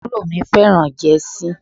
Àbúrò mi fẹ́ràn jẹ́sí.